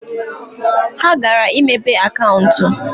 Ha gara imepe akaụntụ.